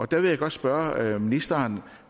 der vil jeg godt spørge ministeren